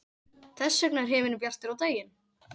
Þess vegna er himinninn bjartur á daginn.